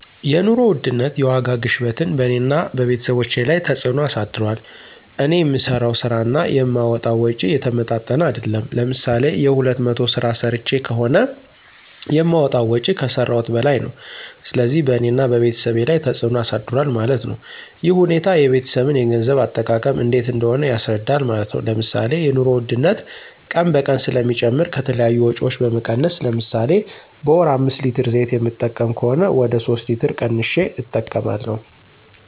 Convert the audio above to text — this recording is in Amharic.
የኑሮ ውድነት (የዋጋ ግሽበትን በእኔና በቤተሰቦቸ ላይ ተፅዕኖ አሳድሯል። እኔ የምሠራው ስራ እና የማወጣዉ ወጭ የተመጣጠነ አይደለም። ለምሳሌ የሁለት መቶ ስራ ሰርቸ ከሆነ የማወጣው ወጭ ከሰረውት በላይ ነው። ስለዚህ በእኔና በቤተሰብ ላይ ተፅዕኖ አሳድሯል ማለት ነው። ይህ ሁኔታ የቤተሰብን የገንዘብ አጠቃቀም እንዴት እንደሆነ ያስረዳል ማለት ነው። ለምሳሌ የኑሮ ውድነት ቀን በቀን ስለሚጨምር ከተለያዩ ወጭዎች በመቀነስ ለምሳሌ በወር አምስት ሌትር ዘይት የምጠቀም ከሆነ ወደ ሶስት ሌትር ቀንሸ እጠቀማለሁ።